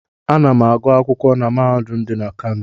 Ana m agụ akwụkwọ na mahadum dị na Kano.